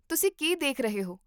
ਤੁਸੀਂ ਕੀ ਦੇਖ ਰਹੇ ਹੋ?